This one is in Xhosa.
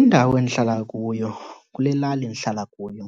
Indawo endihlala kuyo kule lali ndihlala kuyo